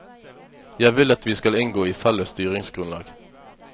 Jeg vil at vi skal inngå i felles styringsgrunnlag.